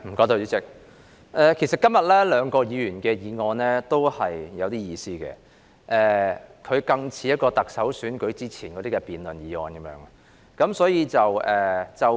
代理主席，今天兩項議員議案都頗有意思，而且更像是特首選舉前的辯論議題。